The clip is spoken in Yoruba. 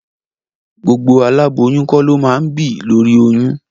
Gbogbo aláboyún kọ́ ló máa ń bì lóri oyún.